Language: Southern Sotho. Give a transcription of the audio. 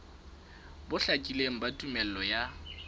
bo hlakileng ba tumello ya